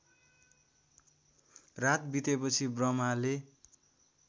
रात बितेपछि ब्रह्माले